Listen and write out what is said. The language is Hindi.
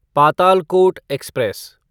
पातालकोट एक्सप्रेस